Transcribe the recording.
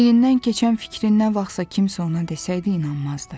Beynindən keçən fikri nə vaxtsa kimsə ona desəydi inanmazdı.